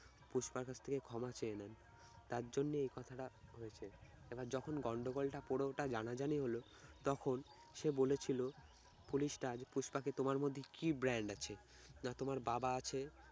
পুষ্পার কাছ থেকে ক্ষমা চেয়ে নেন। তার জন্যই এই কথাটা হয়েছে এবার যখন গন্ডগোলটা পুরোটা জানাজানি হল তখন সে বলেছিল পুলিশটার পুষ্পাকে তোমার মধ্যে কি brand আছে, না তোমার বাবা আছে